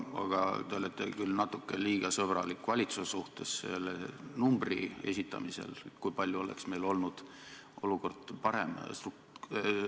Aga te olite küll natuke liiga sõbralik valitsuse suhtes selle numbri esitamisel, kui palju oleks meie olukord parem olnud.